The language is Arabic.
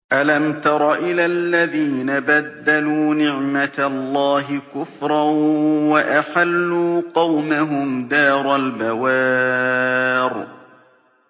۞ أَلَمْ تَرَ إِلَى الَّذِينَ بَدَّلُوا نِعْمَتَ اللَّهِ كُفْرًا وَأَحَلُّوا قَوْمَهُمْ دَارَ الْبَوَارِ